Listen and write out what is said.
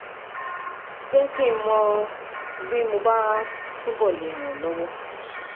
Jẹ́ kí n mọ̀ bí mo bá túbọ̀ lè ràn ọ́ lọ́wọ́